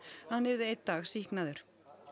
að hann yrði einn dag sýknaður